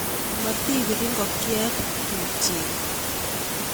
Motibir ikokyet tubchet